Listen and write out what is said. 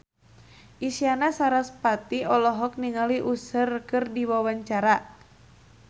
Isyana Sarasvati olohok ningali Usher keur diwawancara